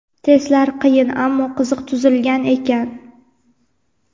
Testlar qiyin ammo qiziq tuzilgan ekan.